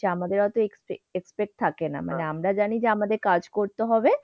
আমাদের অতো expect থাকে না। মানে, আমরা জানি যে আমাদের কাজ করতে হবে।